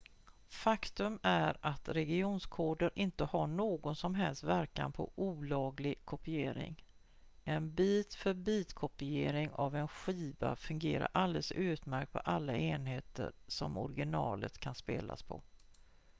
faktum är att regionskoder inte har någon som helst verkan på olaglig kopiering en bit-för-bit-kopiering av en skiva fungerar alldeles utmärkt på alla enheter som originalet kan spelas på